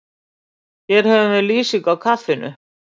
Hér höfum við lýsingu á kaffinu.